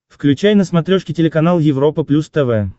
включай на смотрешке телеканал европа плюс тв